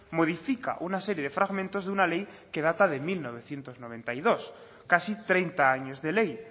modifica una serie de fragmentos de una ley que data de mil novecientos noventa y dos casi treinta años de ley